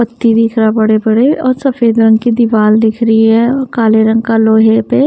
बड़े बड़े और सफेद रंग की दिवार दिख रही है और काले रंग का लोहे प --